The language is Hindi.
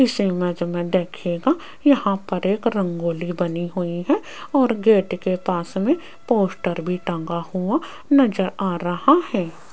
इस इमेज में देखिएगा यहां पर एक रंगोली बनी हुई है और गेट के पास में पोस्टर भी टांगा हुआ नजर आ रहा है।